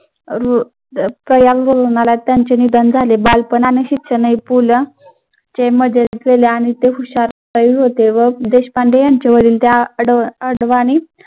त्यांचे निधन झाले त्यांना व देशपांडे यांच्या वरील त्या अडवानी